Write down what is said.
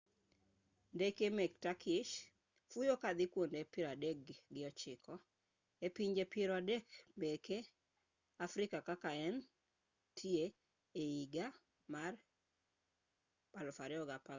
ndeke meke turkish fuyo kadhi kuonde piero adek gi ochiko e pinje piero adek meke africa kaka ne entie ehiga mar 2014